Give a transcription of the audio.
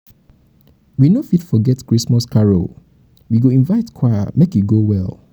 everybody go contribute something because holiday enjoyment na team work matter.